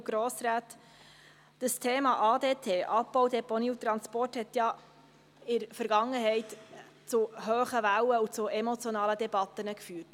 Das Thema ADT – Abbau, Deponie und Transport – hat ja in der Vergangenheit zu hohen Wellen und zu emotionalen Debatten geführt.